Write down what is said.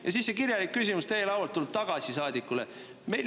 Aga siis see kirjalik küsimus tuleb teie laualt tagasi saadiku lauale.